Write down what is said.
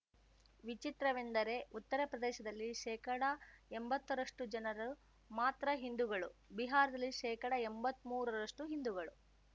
ವಿಚಿತ್ರವೆಂದರೆ ಉತ್ತರ ಪ್ರದೇಶದಲ್ಲಿ ಶೇಕಡಎಂಬತ್ತರಷ್ಟುಜನರು ಮಾತ್ರ ಹಿಂದುಗಳು ಬಿಹಾರದಲ್ಲಿ ಶೇಕಡಎಂಬತ್ಮೂರರಷ್ಟುಹಿಂದುಗಳು